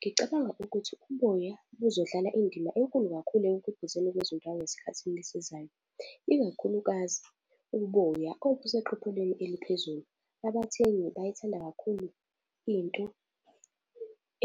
Ngicabanga ukuthi uboya kuzodlala indima enkulu kakhulu ekukhiqizweni kwezindwangu esikhathi esizayo, ikakhulukazi uboya oluseqophelweni eliphezulu. Abathengi bayayithanda kakhulu into